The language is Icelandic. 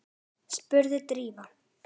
spurði Drífa.